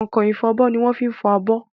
Kọ̀nkọ̀n ifọbọ́ ni wọ́n ń fi fọ abọ́.